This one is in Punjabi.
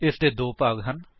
ਇਸਦੇ ਦੋ ਭਾਗ ਹਨ